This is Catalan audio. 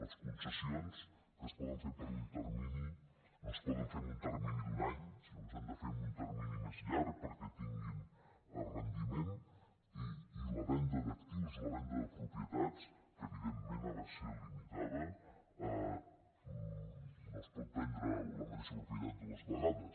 les concessions que es poden fer per un termini no es poden fer en un termini d’un any sinó que s’han de fer en un termini més llarg perquè tinguin rendiment i la venda d’actius la venda de propietats que evidentment ha de ser limitada no es pot vendre la mateixa propietat dues vegades